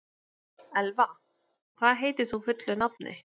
Elva, hvað heitir þú fullu nafni?